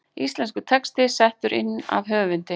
Íslenskur texti settur inn af höfundi.